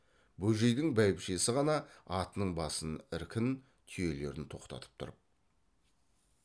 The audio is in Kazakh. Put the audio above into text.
бөжейдің бәйбішесі ғана атының басын іркін түйелерін тоқтатып тұрып